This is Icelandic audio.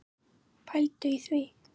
Pældu í því!